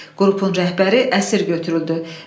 Qrupun rəhbəri əsir götürüldü.